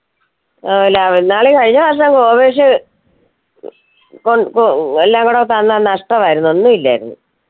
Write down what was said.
ആ നളി കഴിഞ്ഞ മാസം ഗോവയ്ക്ക് കൊൺ കൊ എല്ലാം കൂടെ തന്ന നഷ്ടമായിരുന്നു ഒന്നില്ലായിരുന്നു